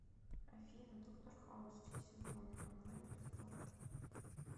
афина доктор хаус все сезоны онлайн бесплатно